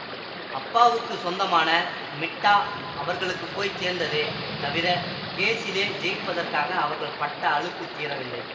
அப்பாவுக்குச் சொந்தமான மிட்டா அவர்களுக்கு போய் சேர்ந்ததே தவிர கேஸிலே ஜெயிப்பதற்காக அவர்கள் பட்ட அலுப்புத் தீரவில்லை